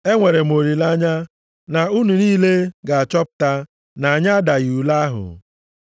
Enwere m olileanya na unu niile ga-achọpụta na anyị adaghị ule ahụ.